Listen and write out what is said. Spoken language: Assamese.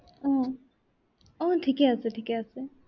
আহ আহ ঠিকেই আছে, ঠিকে আছে।